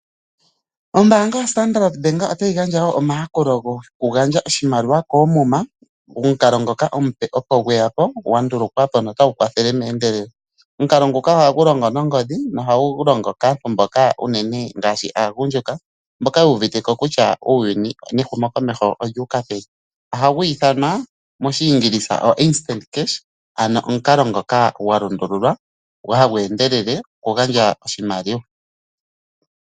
Ombaanga yoStandard Bank otayi gandja wo omayakulo gokugandja oshimaliwa koomuma, omukalo ngoka omupe opo gweya ko gwa ndulukwa po notagu kwathele meendelelo. Omukalo nguka ohagu longo nongodhi nohagu longithwa unene kaagundjuka mboka yu uvite ko kutya uuyuni nehumokomeho olyu uka peni. Ohagu ithanwa omukalo gokugandja oshimaliwa koomuma meendelelo, ano omukalo ngoka gwa lundululwa, hagu endelele okugandja oshimaliwa.